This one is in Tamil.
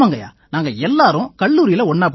நாங்க எல்லாரும் கல்லூரியில ஒண்ணா படிச்சோம்